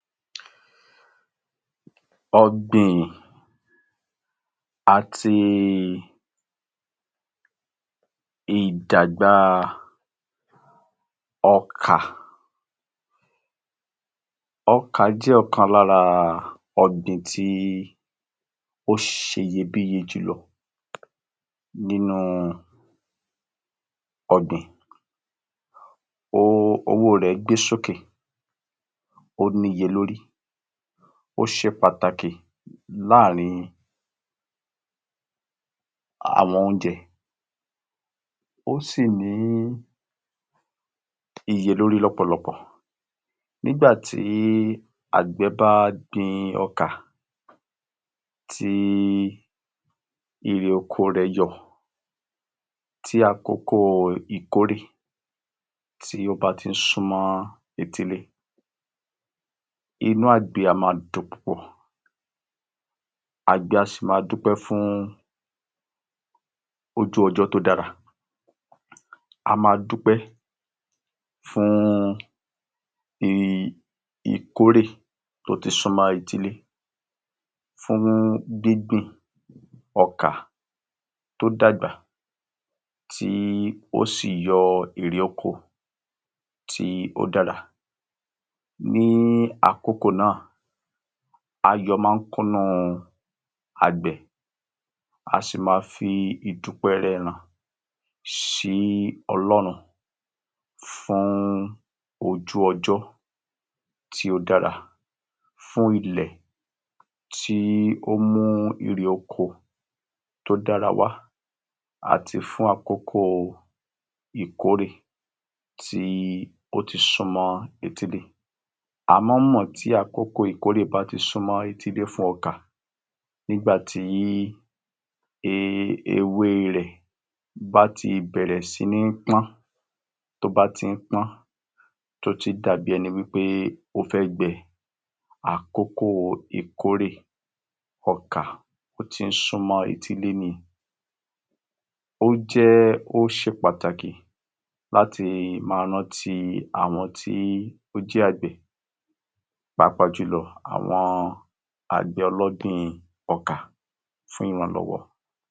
Ọ̀gbìn àti ìdàgbá ọkà Ọkà jẹ́ ọ̀kan lára ọ̀gbìn tí ó ṣe iyebíye jùlọ nínú ọ̀gbìn. Owó rẹ̀ gbé sókè, ó níye lórí, ó ṣe pàtàkì láàárín àwọn oúnjẹ. Ó sì ní iye lórí lọ́pọ̀lọpọ̀. Nígbà tí àgbẹ̀ bá gbin ọkà, tí ire oko rẹ̀ yọ, tí àkókò ìkórè tí ó bá tí ń súmọ́ etílé, inú àgbẹ̀ a máa dùn púpọ̀, àgbẹ̀ á sì máa dúpẹ́ fún ojú-ọjọ́ tó dára. A máa dúpẹ́ fún i ìkórè tó ti súmọ́ etílé. Fún gbíngbìn ọkà tó dàgbà tí ó sì yọ èrè oko tí ó dára. Ní àkókò náà, ayọ̀ máa ń kúnu àgbẹ̀, a sì máa fi ìdúpẹ́ rẹ̀ hàn sí Ọlọ́run fún ojú-ọjọ́ tí o dára fún ilẹ̀ tí o mú ire oko tó dára wa àti fún àkókò ìkórè tí ó ti súmọ́ etílé. A máa ń mọ̀ tí àkókò ìkórè bá ti súmọ́ etílé fún ọkà nígbàtí e ewé rẹ̀ bá ti bẹ̀rẹ̀ sí ní pọ́n tó bá tí ń pọ́n, tó ti dà bíi ẹni wí pé ó fẹ́ gbẹ, àkókò ìkórè ọkà, ó tí ń súmọ́ etílé ni. Ó jẹ́, ó ṣe pàtàkì láti máa rántí àwọn tí ó jẹ́ àgbẹ̀ pàápàá jù lọ àwọn àgbẹ̀ ọlọ́gbìn ọkà fún wọn lọ́wọ́.